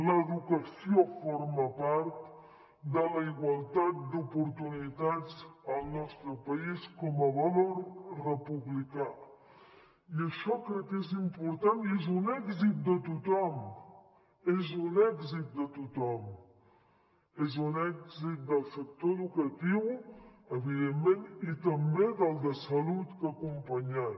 l’educació forma part de la igualtat d’oportunitats al nostre país com a valor republicà i això crec que és important i és un èxit de tothom és un èxit de tothom és un èxit del sector educatiu evidentment i també del de salut que ha acompanyat